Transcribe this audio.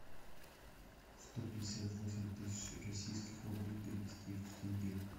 сто пятьдесят восемь тысяч российских рублей перевести в тенге